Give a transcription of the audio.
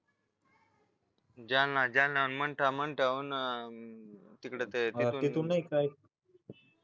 जालना जळणावरून मंठा वरून तिकडे ते